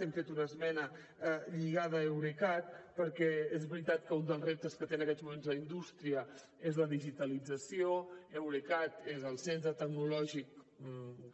hem fet una esmena lligada a eurecat perquè és veritat que un dels reptes que té en aquests moments la indústria és la digitalització eurecat és el centre tecnològic